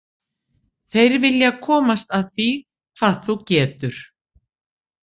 Þeir vilja komast að því hvað þú getur.